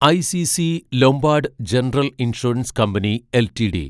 ICC Lombard General Insurance Company LTD